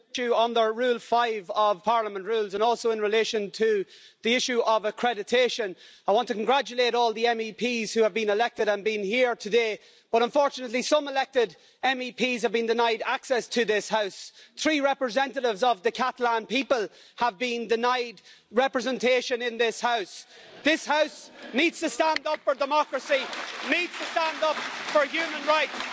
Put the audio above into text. Mr President, I rise under Rule 5 of Parliament's Rules of Procedure and also in relation to the issue of accreditation. I want to congratulate all the MEPs who have been elected and been here today, but unfortunately some elected MEPs have been denied access to this House. Three representatives of the Catalan people have been denied representation in this House. This House needs to stand up for democracy and needs to stand up for human rights.